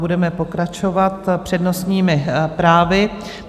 Budeme pokračovat přednostními právy.